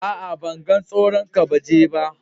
A'a, ban gan tsiron kabeji ba.